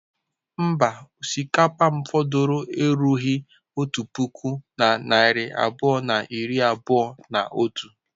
Mba, osikapa m fọdụrụ erubeghị otu puku na narị abụọ na iri abụọ na otu.